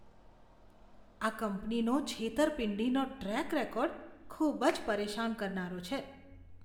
આ કંપનીનો છેતરપિંડીનો ટ્રેક રેકોર્ડ ખૂબ જ પરેશાન કરનારો છે.